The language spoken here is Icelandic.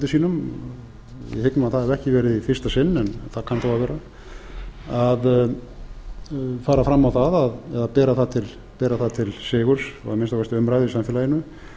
sínum ég hygg nú að það hafi ekki verið í fyrsta sinn en það kann þó að vera að fara fram á það eða bera það til sigurs og að minnsta kosti umræðu í samfélaginu